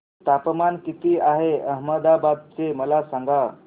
तापमान किती आहे अहमदाबाद चे मला सांगा